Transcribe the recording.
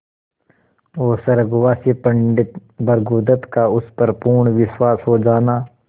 और स्वर्गवासी पंडित भृगुदत्त का उस पर पूर्ण विश्वास हो जाना